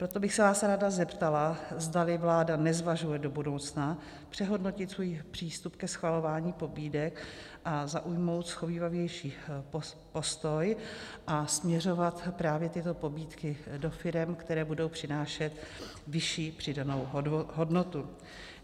Proto bych se vás ráda zeptala, zdali vláda nezvažuje do budoucna přehodnotit svůj přístup ke schvalování pobídek a zaujmout shovívavější postoj a směřovat právě tyto pobídky do firem, které budou přinášet vyšší přidanou hodnotu.